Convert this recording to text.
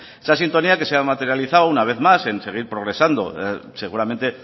esa sintonía que se ha materializado una vez más en seguir progresando seguramente